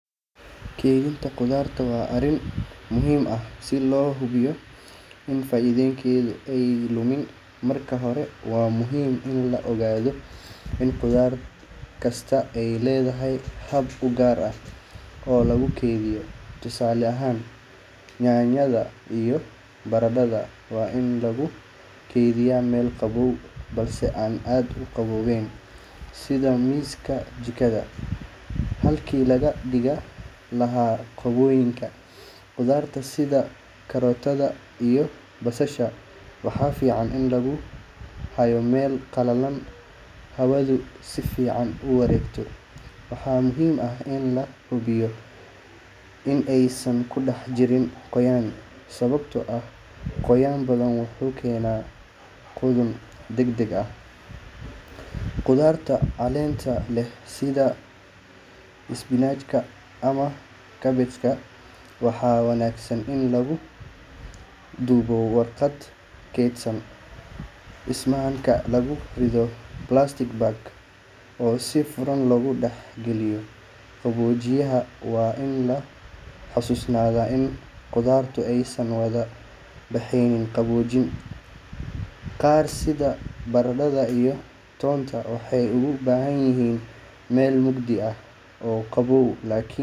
Miraha iyo khudaarta waxaa lagu beeraa dhul nafaqo leh oo si fiican loo diyaariyay, iyadoo la isticmaalayo abuur tayo leh iyo biyo ku filan. Marka la beero, waxaa loo baahan yahay daryeel joogto ah sida waraabin, jeermis ka saarista dhirta iyo bacrinta si miraha iyo khudaartu u koraan si caafimaad leh. Qorraxdu waa qayb muhiim u ah koboca miraha iyo khudaarta sababtoo ah waxay bixisaa tamarta ay uga baahanyihiin inay sameystaan nafaqooyinka muhiimka ah. Inta lagu jiro koritaanka, khubarada beeralayda ah waxay si joogto ah u eegaan xaaladda dhirta si ay uga hortagaan cudurrada ama cayayaanka waxyeeleeya. Marka miraha iyo khudaartu bislaadaan, waxaa laga goostaa geedaha ama dhirta waxaana loo diyaariyaa suuq geynta. Qaarkood waxaa lagu nadiifiyaa biyo kadibna lagu raraa baabuur si loo geeyo suuqyada ama xarumaha kaydinta.